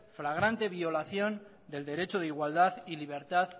flagrante violación del derecho de igualdad y libertad